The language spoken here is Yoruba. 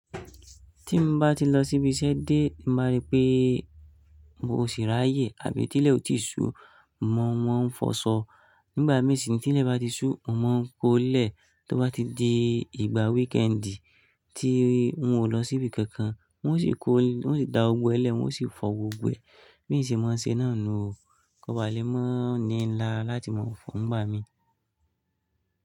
Tí mo bá ti lọ síbi iṣẹ́ dé, mo máa rí pé n kò sì ráyè àbí tí ilé ò tí sú, mo mọ̀ wọ́n ń fọṣọ. Nígbà mìí sì ni tí ilé bá ti sú, mo mọ̀n ń kó lẹ̀. Tó bá ti di ìgbà weekend tí wọn ò lọ síbi kankan, wọn ó sì kó, wọ́n sì da ogbẹ́lẹ̀, wọ́n sì fọ gbogbo ẹ. Bi n ṣi mọ̀ ń ṣe náà nu o. Ko ba lè mọ̀ ní lará láti mọ̀ fo ìgbà mi.